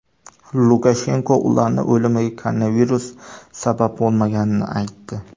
Lukashenko ularning o‘limiga koronavirus sabab bo‘lmaganini aytdi.